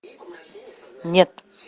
нет